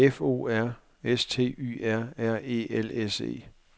F O R S T Y R R E L S E